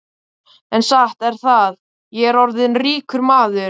En satt er það, ég er orðinn ríkur maður.